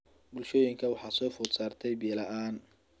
Bulshooyinka waxaa soo food saartay biyo la�aan.